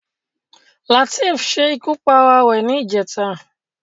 Lateef ṣe ikú pa ara rẹ̀ ní ìjẹta